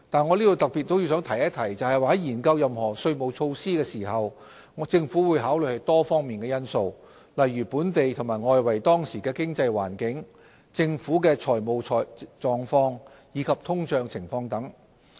我也要特別提出，在研究任何稅務措施時，政府會考慮多方面因素，例如本地和外圍當時的經濟環境、政府的財務狀況，以及通脹情況等。